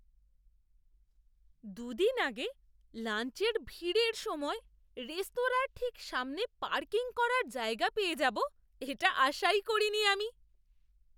দু দিন আগে, লাঞ্চের ভিড়ের সময়ে রেস্তোরাঁর ঠিক সামনে পার্কিং করার জায়গা পেয়ে যাব এটা আশা ই করিনি আমি!